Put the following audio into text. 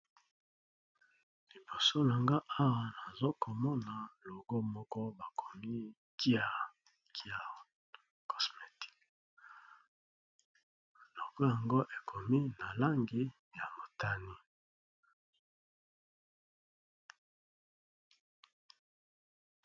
Liboso longo owa nazokomona loko moko bakomi kia kia cosmetic loko yango ekomi na langi ya motani.